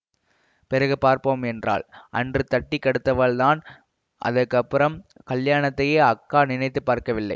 பிறகு பாப்போம் என்றாள் அன்று தட்டி கடூத்தவள்தான் அதற்கப்புறம் கல்யாணத்தையே அக்கா நினைத்து பார்க்கவில்லை